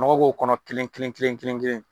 Nɔgɔ k'o kɔnɔ kelen kelen kelen kelen kelen.